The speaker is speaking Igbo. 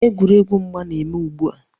Egwuregwu mgba na-eme ugbu a